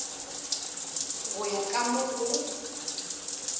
go ya ka mo go